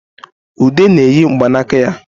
Ude na-eyi mgbanaka ya